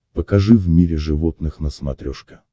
покажи в мире животных на смотрешке